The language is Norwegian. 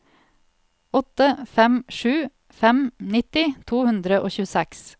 åtte fem sju fem nitti to hundre og tjueseks